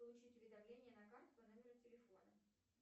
получить уведомление на карту по номеру телефона